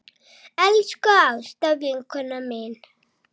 Elsku Ásta vinkona mín.